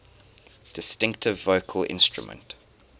distinctive vocal instrument